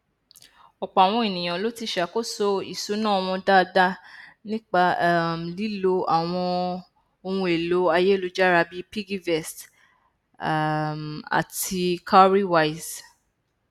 ọpọ àwọn ènìyàn ló ti ṣàkóso ìṣúná wọn dáadáa nípa um lílo àwọn ohunèlò ayélujára bíi piggyvest um àti cowrywise